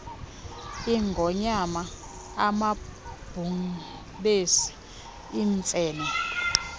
iingonyama amabhubesi iimfene